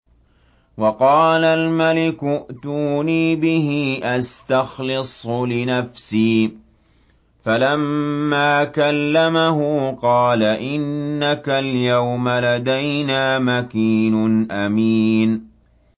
وَقَالَ الْمَلِكُ ائْتُونِي بِهِ أَسْتَخْلِصْهُ لِنَفْسِي ۖ فَلَمَّا كَلَّمَهُ قَالَ إِنَّكَ الْيَوْمَ لَدَيْنَا مَكِينٌ أَمِينٌ